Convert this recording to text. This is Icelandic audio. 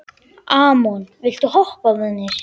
Amon, viltu hoppa með mér?